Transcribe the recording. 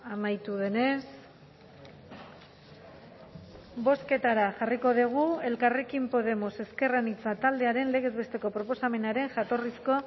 amaitu denez bozketara jarriko dugu elkarrekin podemos ezker anitza taldearen legez besteko proposamenaren jatorrizko